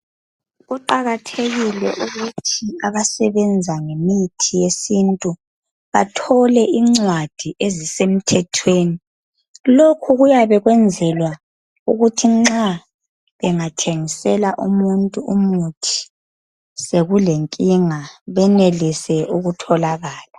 Kuqakathekile ukuthi abasebenza ngemithi yesintu bathole incwadi ezisemthethweni lokhu kuyabe kwenzelwa ukuthi nxa bengathengisela umuntu umuthi sekulenkinga benelise ukutholakala